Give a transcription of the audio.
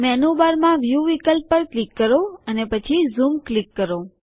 મેનુબારમાં view વિકલ્પ પર click કરો અને પછી ઝૂમ ક્લિક કરો